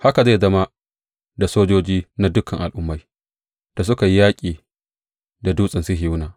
Haka zai zama da sojoji na dukan al’ummai da suka yi yaƙi da Dutsen Sihiyona.